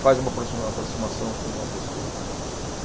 faz uma aproxima, aproximação com uma pessoa e tudo mais.